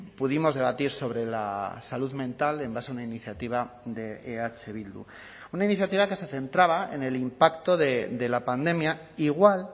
pudimos debatir sobre la salud mental en base a una iniciativa de eh bildu una iniciativa que se centraba en el impacto de la pandemia igual